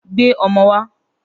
Gbé o̩mo̩ wá!